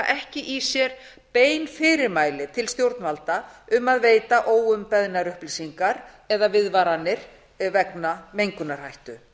ekki í sér bein fyrirmæli til stjórnvalda um að veita óumbeðnar upplýsingar eða viðvaranir vegna mengunarhættu